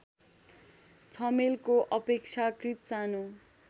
छमेलको अपेक्षाकृत सानो